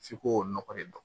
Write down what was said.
F'i ko o nɔgɔ de don